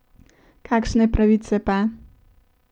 Kakšne pravice pa?